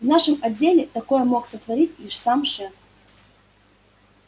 в нашем отделе такое мог сотворить лишь сам шеф